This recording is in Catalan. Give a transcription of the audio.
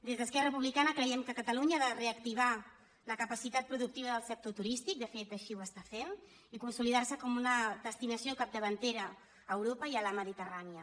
des d’esquerra republicana creiem que catalunya ha de reactivar la capacitat productiva del sector turístic de fet així ho està fent i consolidar se com una destinació capdavantera a europa i a la mediterrània